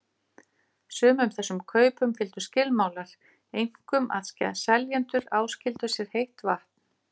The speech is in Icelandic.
Sumum þessum kaupum fylgdu skilmálar, einkum að seljendur áskildu sér heitt vatn.